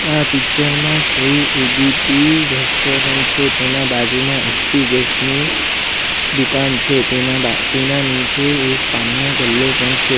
આ પિક્ચર માં શ્રી ઉડીપી રેસ્ટોરન્ટ છે તેના બાજુમાં એચ_પી ગેસ ની દુકાન છે તેના બા નીચે એક પાનનો ગલ્લો પણ છે.